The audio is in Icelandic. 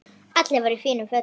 Allir voru í fínum fötum.